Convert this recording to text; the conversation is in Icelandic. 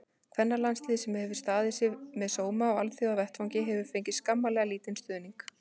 Kvennalandsliðið, sem hefur staðið sig með sóma á alþjóðavettvangi, hefur fengið skammarlega lítinn stuðning.